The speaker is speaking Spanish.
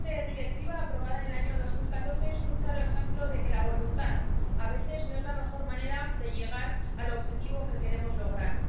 Esta Directiva, aprobada en el año 2014, es un claro ejemplo de que la voluntad, a veces, no es la mejor manera de llegar al objetivo que queremos lograr.